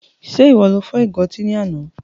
Ṣe iwọ lo fọ́ ìgo ọtí ní àna?